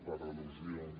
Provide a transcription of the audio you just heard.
per al·lusions